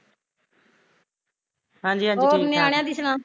ਹਾਂਜੀ ਹਾਂਜੀ ਠੀਕ ਠਾਕ ਐ